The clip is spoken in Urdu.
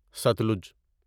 ستلج